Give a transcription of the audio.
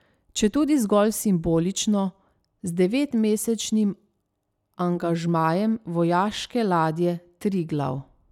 Četudi zgolj simbolično, z devetmesečnim angažmajem vojaške ladje Triglav.